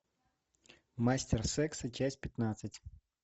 мастер секса часть пятнадцать